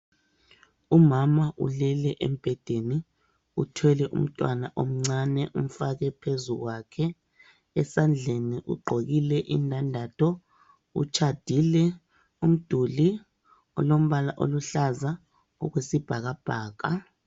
Umama ulele mbhedeni uthwele umntwana omncane umfake phezukwakhe esandleni ugqokile indandatho utshadile umduli olombala oluhlaza okwesibhakabhaka.